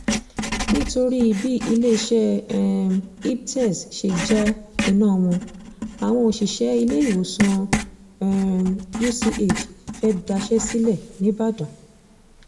nítorí bí iléeṣẹ́ um ibertz ṣe já iná wọn àwọn òṣìṣẹ́ iléèwòsàn um uch fee daṣẹ́ sílẹ̀ nìbàdàn